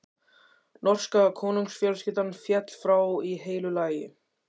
Norska konungsfjölskyldan féll frá í heilu lagi.